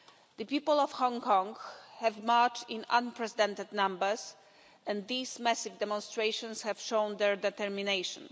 The people of Hong Kong have marched in unprecedented numbers and these massive demonstrations have shown their determination.